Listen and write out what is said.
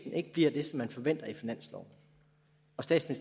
og